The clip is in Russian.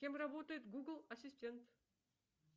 кем работает гугл ассистент